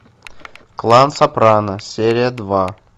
клан сопрано серия два